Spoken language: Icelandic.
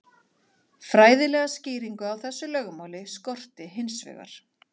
Fræðilega skýringu á þessu lögmáli skorti hins vegar.